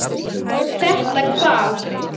Þetta hvað?